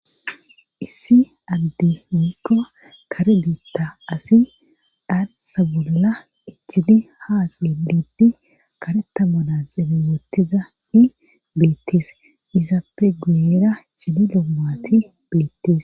issi adde woykko kare biitta asi dhaansa bolla ichini haase liitti kare tammana xeeme woottiza i beettes izaapfe guyera cililo mati beettes